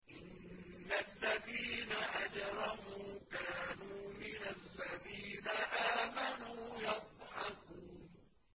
إِنَّ الَّذِينَ أَجْرَمُوا كَانُوا مِنَ الَّذِينَ آمَنُوا يَضْحَكُونَ